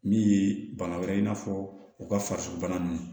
Min ye bana wɛrɛ ye i n'a fɔ u ka farisobana ninnu